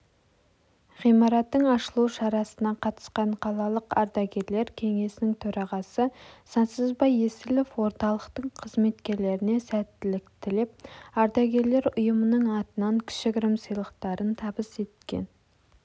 ғимараттың ашылу шарасына қатысқан қалалық ардагерлер кеңесінің төрағасы сансызбай есілов орталықтың қызметкерлерінесәттілік тілеп ардагерлер ұйымының атынан кішігірім сыйлықтарын табыс еткен